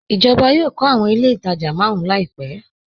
Ijọba yọọ̀ kọ̀ awọn ilẹ̀ itajà màrùn làìpẹ